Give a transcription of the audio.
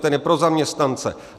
Ten je pro zaměstnance.